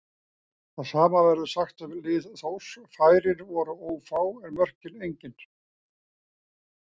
Það sama verður sagt um lið Þórs, færin voru ófá en mörkin engin.